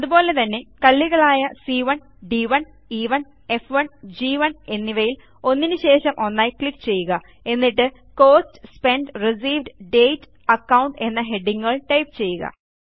അതുപോലെതന്നെ കള്ളികളായ സി1 ഡ്1 ഇ1 f1ഗ്1 എന്നിവയിൽ ഒന്നിനു ശേഷം ഒന്നായി ക്ലിക്ക് ചെയ്യുക എന്നിട്ട് കോസ്റ്റ് സ്പെന്റ് റിസീവ്ഡ് dateഅക്കൌണ്ട് എന്ന ഹെഡിംങ്ങുകൾ ടൈപ്പ് ചെയ്യുക